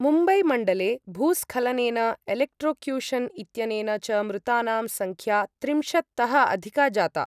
मुम्बै मण्डले भूस्खलनेन एलेक्ट्रोक्यूशन् इत्यनेन च मृतानां संख्या त्रिंशत् तः अधिका जाता।